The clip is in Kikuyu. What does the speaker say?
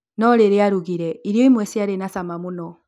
No rĩrĩa arugire, irio imwe ciarĩ na cama mũno